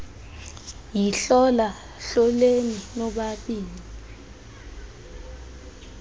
yihlola hloleni nobabini